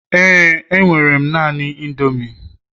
éè, enwere m naanị indomie